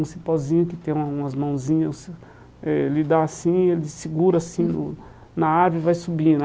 Um cipózinho que tem uma umas mãozinhas, eh ele dá assim, ele segura assim no na árvore e vai subindo.